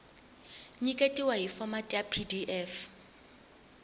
nyiketiwa hi fomati ya pdf